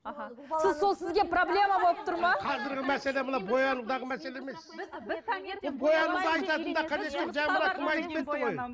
аха сіз сол сізге проблема болып тұр ма қазіргі мәселе мына боянудағы мәселе емес